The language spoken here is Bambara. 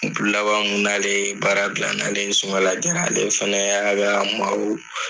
Don laban mu n'ale ye baara bila n nalen sɔgɔmada joona ale fana ka maaw